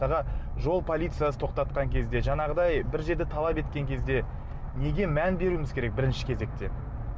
жол полициясы тоқтатқан кезде жаңағыдай бір жерде талап еткен кезде неге мән беруіміз керек бірінші кезекте